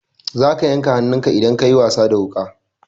Za ka yanka hannunka idan ka yi wasa da wuƙa.